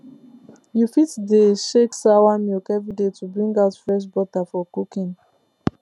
you fit dey shake sawa milk every day to bring out fresh butter for cooking